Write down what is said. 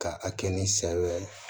Ka a kɛ ni sariya ye